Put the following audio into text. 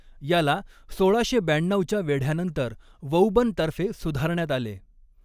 याला सोळाशे ब्याण्णऊच्या वेढ्यानंतर वौबन तर्फे सुधारण्यात आले.